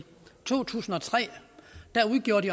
to tusind og tre udgjorde